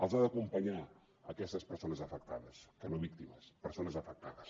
les ha d’acompanyar aquestes persones afectades que no víctimes persones afectades